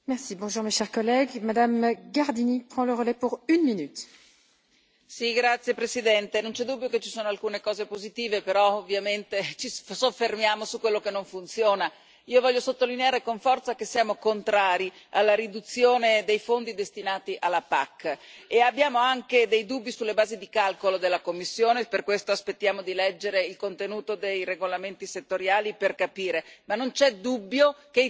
Signora Presidente, onorevoli colleghi, non c'è dubbio che ci sono alcune cose positive, però ovviamente ci soffermiamo su quello che non funziona. Io voglio sottolineare con forza che siamo contrari alla riduzione dei fondi destinati alla PAC, e abbiamo anche dei dubbi sulle basi di calcolo della Commissione. Per questo aspettiamo di leggere il contenuto dei regolamenti settoriali per capire, ma non c'è dubbio che i tagli saranno molto più alti di quanto Lei oggi abbia detto.